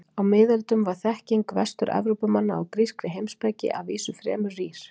Á miðöldum var þekking Vestur-Evrópumanna á grískri heimspeki að vísu fremur rýr.